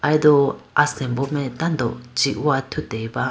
aye do asimbo mai tando ji howa athuti ba.